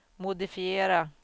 modifiera